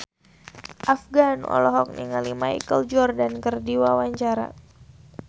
Afgan olohok ningali Michael Jordan keur diwawancara